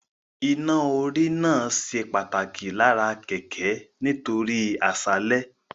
Iná-orí náà ṣe pàtàkì lára kẹ̀kẹ́ nítorí àṣálẹ́